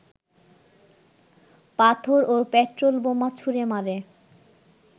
পাথর ও পেট্রলবোমা ছুঁড়ে মারে